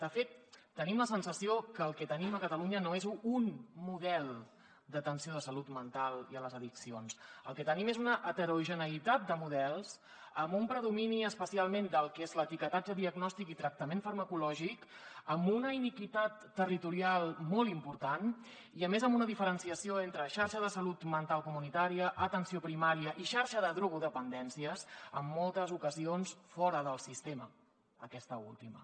de fet tenim la sensació que el que tenim a catalunya no és un model d’atenció a la salut mental i a les addiccions el que tenim és una heterogeneïtat de models amb un predomini especialment del que és l’etiquetatge diagnòstic i tractament farmacològic amb una iniquitat territorial molt important i a més amb una diferenciació entre xarxa de salut mental comunitària atenció primària i xarxa de drogodependències en moltes ocasions fora del sistema aquesta última